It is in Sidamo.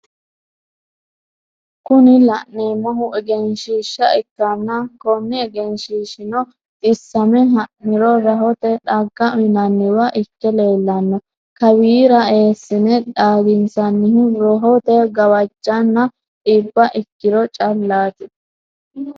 Kuni la'neemohu egeenshiishsha ikkanna koni egenshiishshino xissamme ha'niro rahote dhagga uyiinanniwa ikke leellanno kawira eessine dhaginsannihu rohote gawajjanno dhiba ikkiro callatti.